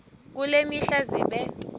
kule mihla zibe